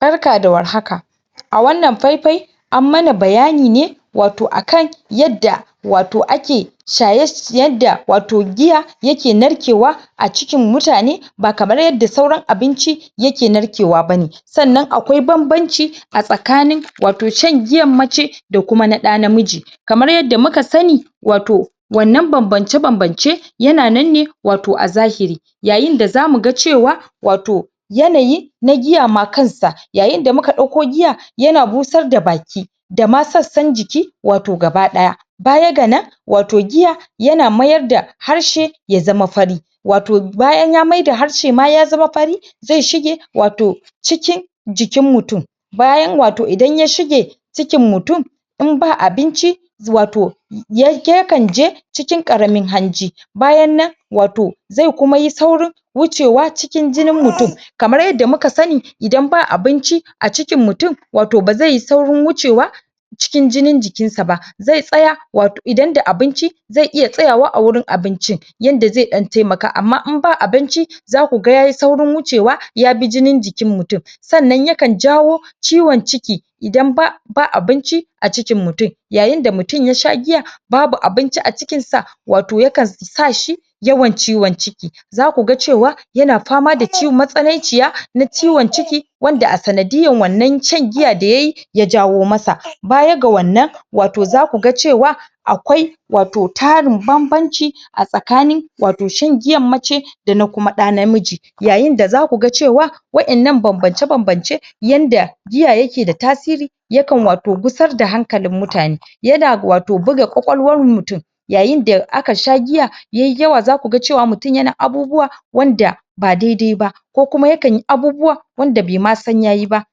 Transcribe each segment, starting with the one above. Barka da war haka A wannan fai fai An mana bayani ne, Wato akan Yadda Wato ake Yadda wato giya Yake narkewa A cikin mutane Ba kamar yadda sauran abinci Yake narkewa bane Sannan akwai banbanci A tsakanin wato Shan giyar mace Da kuma na ɗa namiji Kamar yadda muka sani Wato Wannan banbanci-banbanci Yana nan ne Wato a zahiri Yayin da zamu ga cewa Wato Yanayi Na giya na giya ma kanshi Yayin da muka dauko giya Yana busar da baki Dama sassan jiki Wato gaba daya Bayan ganan Wato giya Yana mayar da Harshe Ya zama fari Wato bayan ya maida harshe ya zama fari Zai shige Wato Cikin Jikin mutum Bayan wato idan ya shige Cikin mutum Idan ba abinci Wato Wato yakan je Cikin ƙaramin hanji Bayan nan wato Zaiyi kuma saurin Wucewa cikin jini mutum Kamar yadda muka sani idan ba abinci A cikin mutum Wato bazaiyi saurin wucewa Cikin jinin jikinsa ba zai tsaya Wato idan da abinci Zai iya tsayawa a wurin abincin Yanda zai dan taimaka, amma idan ba abinci Zaku ga yayi saurin wucewa Yabi jinin jikin mutum Sannan yakan jawo Ciwon ciki Idan ba ba abinci A cikin mutum Yayin da mutum yasha giya Babu abinci a cikinsa Wato yakan sashi Yawan ciwon ciki Zaku ga cewa Yana fama da ciwon, matsanaiciya na ciwon ciki Wanda a sanadiyar wannan shan giyar da yayi Ya jawo masa Bayan ga wannan Wato zakuga cewa Akwai Wato tarin banbanci A tsakani Wato shan giyar mace Dana kuma ɗa namiji Yayin da zakuga cewa Wadannan banbance-banbancen Yanda Giya yake da tasiri Yakan wato gusar da hankalin mutane Yana wato, buga kwakwalwar mutum Yayin da aka sha giya Yayi yawa zakuga cewa mutum yana abubuwa Wanda Ba daidai ba Ko kuma yakan abubuwa Wanda bai ma san yayi ba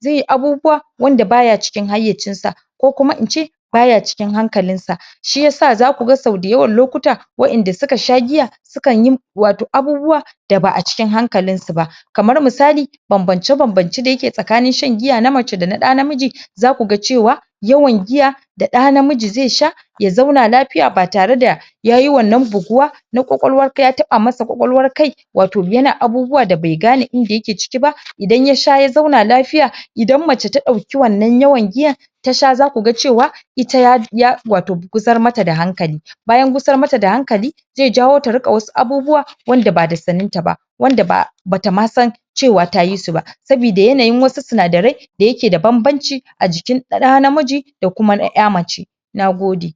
Zaiyi abubuwa Wanda baya cikin haiyacinsa Ko kuma ince Baya cikin hankalinsa Shiyasa zakuga sauda yawan lokuta Wadanda suka sha giya Sukan yi wato abubuwa Daba cikin hankalin suba Kamar misali Banbance banbance dayake tsakanin sha giyar na mace dana ɗa namiji Za kuga cewa Yawa giya Da ɗa namiji zai sha Ya zauna lafiya ba tare da Yayi wannan buguwa Na kwakwalwa yakai ya taɓa masa kai Wato yana abubuwa da bai gane inda yake ciki ba Idan yasha ya zauna lafiya Idan mace ta dauki wannan yawan giyar Tasha za kuga cewa Ita ya ya wato gusar matada hankali Bayan gusar matada hankali Zai jawo ta ringa wasu abubuwa Wanda bada sannen taba Wanda ba bata masan Cewa tayi suba Sabida yanayin wasu sinadarai Da yake da banbanci A jikin ɗa namiji Da kuma na mace Na gode